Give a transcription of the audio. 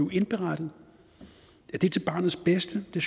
blive indberettet er det til barnets bedste det